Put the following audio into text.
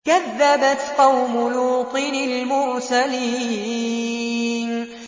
كَذَّبَتْ قَوْمُ لُوطٍ الْمُرْسَلِينَ